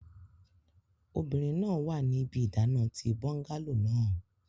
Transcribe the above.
Obinrin naa wa ni ibi idana ti bungalow naa